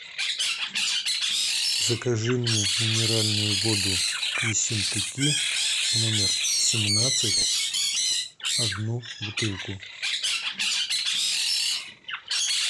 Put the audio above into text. закажи мне минеральную воду ессентуки номер семнадцать одну бутылку